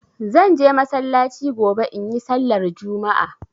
Zan je masallaci gobe in yi sallar Juma'a.